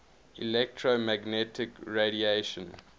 electromagnetic radiation